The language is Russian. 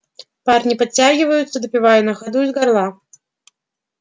парни подтягиваются допивая на ходу из горла